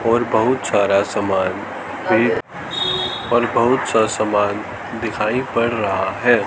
और बहुत सारा सामान और बहुत सा सामान दिखाई पड़ रहा है।